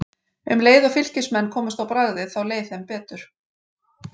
Um leið og Fylkismenn komust á bragðið þá leið þeim betur.